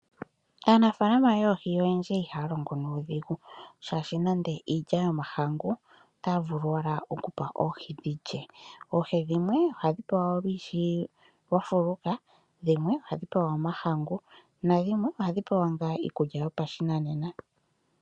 Aanafalama yoohi oyendji ihaya longo nuudhigu ,shaashi nande iilya yomahangu otayi vulu oku pewa oohi dhi lye oohi dhimwe ohadhi pewa shafuka dhimwe ohadhi pewa omahangu dho dhimwe ohadhi pewa iikulya yopashinanena.